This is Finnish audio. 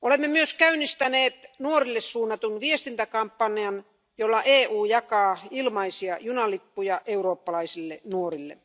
Olemme myös käynnistäneet nuorille suunnatun viestintäkampanjan, jolla EU jakaa ilmaisia junalippuja eurooppalaisille nuorille.